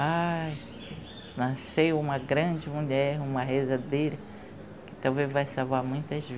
Ai, nasceu uma grande mulher, uma rezadeira, que talvez vai salvar muitas